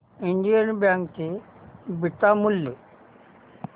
Indian bank चे beta मूल्य